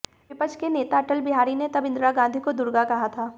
विपक्ष के नेता अटल बिहारी ने तब इंदिरा गांधी को दुर्गा कहा था